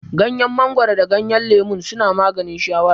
Gyanyen mangoro da gyanyen lemon suna maganin shawara